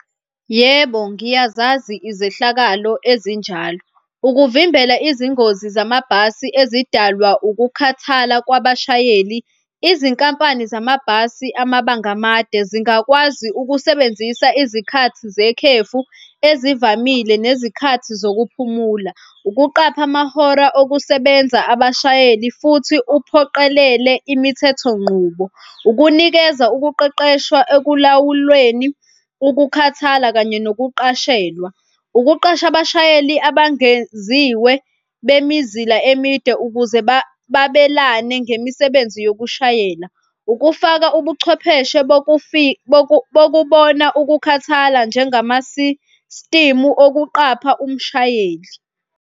Yebo, ngiyazazi izehlakalo ezinjalo. Ukuvimbela izingozi zamabhasi ezidalwa ukukhathala kwabashayeli izinkampani zamabhasi amabanga amade zingakwazi ukusebenzisa izikhathi zekhefu ezivamile nezikhathi zokuphumula. Ukuqapha amahora okusebenza abashayeli futhi kuphoqelelwe imithetho ngqubo. Ukunikeza ukuqeqeshwa ekulawulweni ukukhathala kanye nokuqashelwa. Ukuqasha abashayeli abangeziwe bemizila emide ukuze babelane ngemisebenzi yokushayela. Ukufaka ubuchwepheshe bokubona ukukhathala njengama-system okuqapha umshayeli.